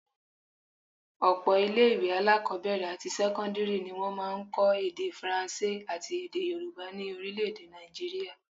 Ọ̀pọ̀ ilé-ìwé alákọ́bẹ̀rẹ̀ àti sẹ́kọ́ndírì ni wọ́n máa ń kọ́ èdè Faransé àti èdè Yorùbá ni orílé-èdè Naijiria